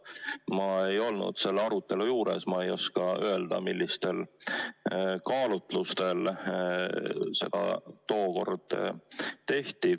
Ma ei olnud selle arutelu juures, ma ei oska öelda, millistel kaalutlustel nii tookord tehti.